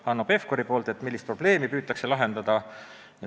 Hanno Pevkur küsis, millist probleemi ikkagi püütakse lahendada.